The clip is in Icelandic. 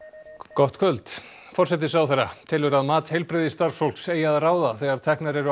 gott kvöld forsætisráðherra telur að mat heilbrigðisstarfsfólks eigi að ráða þegar teknar eru